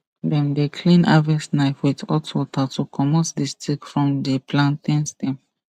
dem dey clean harvest knife with hot water to comot the stick from the plantain stem